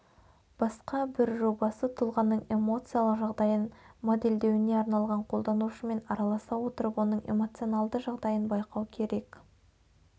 басқа бір жобасы тұлғаның эмоциялық жағдайын моделдеуіне арналған қолданушымен араласа отырып оның эмоционалды жағдайын байқау керек